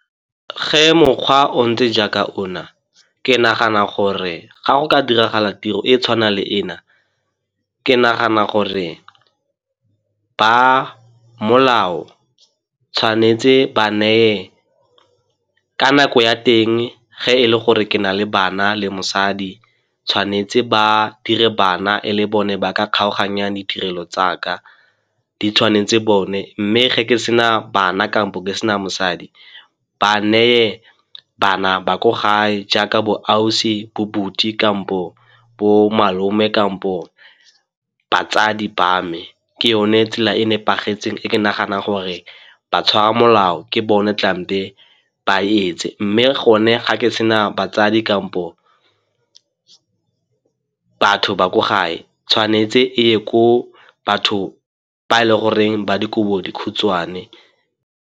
Ge mokgwa o ntse jaaka ona, ke nagana gore ga go ka diragala tiro e e tshwanang le ena, ke nagana gore ba molao tshwanetse ba neye ka nako ya teng ge e le gore ke na le bana le mosadi tshwanetse ba dire bana e le bone ba ka kgaoganyang ditirelo tsa ka, di tshwanetse bone. Mme ge ke sena bana kampo ke sena mosadi ba neye bana ba ko gae jaaka bo ausi, kampo bo malome kampo batsadi ba me ke yone tsela e nepagetseng e ke nagana gore ba tshwara molao ke bone ba e etse. Mme gone ga ke sena batsadi kampo batho ba ko gae, tshwanetse e ye ko batho ba e le goreng ba dikobodikhutshwane.